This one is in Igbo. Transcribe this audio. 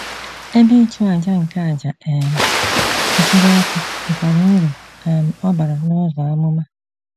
Ebe ịchụàjà nke àjà um nsure ọkụ nwekwara uru um ọ bara n'ụzọ amụma.